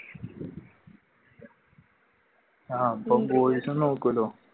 ആഹ് boys ഉം നോക്കൂലോ